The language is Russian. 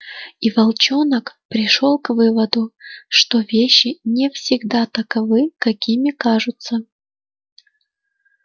и волчонок пришёл к выводу что вещи не всегда таковы какими кажутся